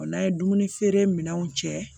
O n'a ye dumuni feere minɛnw cɛ